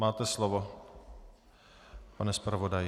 Máte slovo, pane zpravodaji.